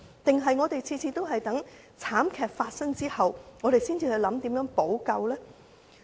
還是我們每次也要在慘劇發生後，才去想想如何補救呢？